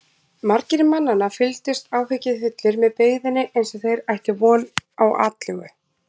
Margir mannanna fylgdust áhyggjufullir með byggðinni eins og þeir ættu von á atlögu.